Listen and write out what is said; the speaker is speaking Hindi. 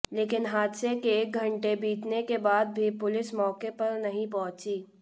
लेकिन हादसे के एक घंटे बीतने के बाद भी पुलिस मौके पर नहीं पहुंचीं